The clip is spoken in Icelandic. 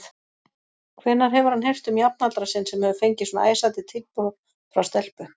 Hvenær hefur hann heyrt um jafnaldra sinn sem hefur fengið svona æsandi tilboð frá stelpu?